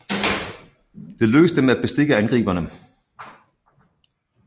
Det lykkedes dem at bestikke angriberne